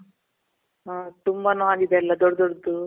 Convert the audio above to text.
ಹಾ, ತುಂಬಾ ನಾರಿದೆ ಅಲ್ಲ ದೊಡ್ಡ್ ದೊಡ್ಡದು.